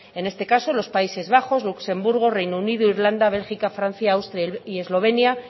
en este caso los países bajos luxemburgo reino unido irlanda bélgica francia austria y eslovenia